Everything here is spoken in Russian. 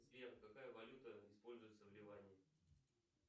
сбер какая валюта используется в ливане